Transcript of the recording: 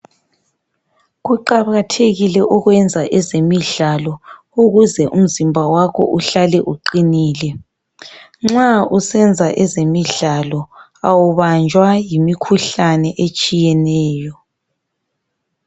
Kuqakathekile ukwenza ezemidlalo ukuze umzimba wakho uhlale uqinile. Nxa usenza ezemidlalo awubanjwa yimikhuhlane etshiyeneyo.